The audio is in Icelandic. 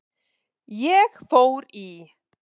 Ég fór í